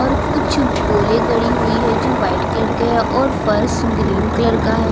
और कुछ पोले गड़ी हुई है जो वाइट कलर के है और फर्श ग्रीन कलर का है।